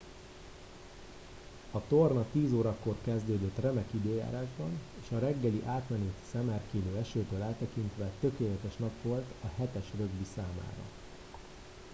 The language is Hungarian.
a torna 10 órakor kezdődött remek időjárásban és a reggeli átmeneti szemerkélő esőtől eltekintve tökéletes nap volt a 7 es rögbi számára